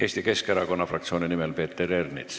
Eesti Keskerakonna fraktsiooni nimel Peeter Ernits.